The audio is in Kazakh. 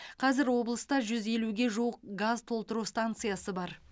қазір облыста жүз елуге жуық газ толтыру станциясы бар